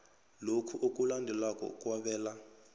lokhu okulandelako okwabelwa